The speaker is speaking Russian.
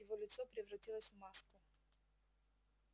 его лицо превратилось в маску